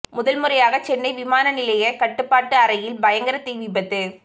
முதல் முறையாக சென்னை விமானநிலைய கட்டுப்பாட்டு அறையில் பயங்கர தீவிபத்து